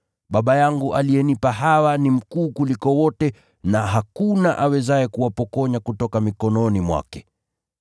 Baba yangu aliyenipa hawa ni mkuu kuliko wote na hakuna awezaye kuwapokonya kutoka mikononi mwake.